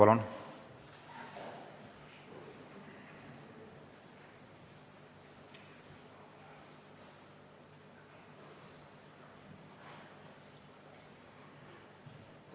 Palun!